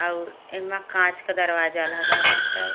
और एमा कांच क दरवाजा लगा बाटै।